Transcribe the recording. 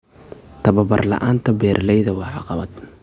Tababar la'aanta beeralayda waa caqabad.